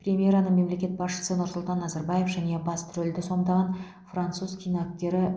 премьераны мемлекет басшысы нұрсұлтан назарбаев және басты рөлді сомдаған француз киноактері